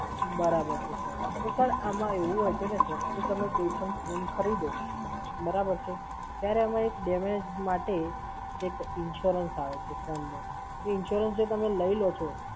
બરાબર છે Sir. તો sir આમાં એવું હોય છે ને Sir કે તમે કોઈ પણ phone ખરીદો, બરાબર છે? ત્યારે અમે એક damage માટે એક Insurance આવે છે phone નો, એ Insurance જો તમે લઈ લો છો,